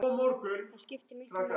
Það skiptir miklu máli.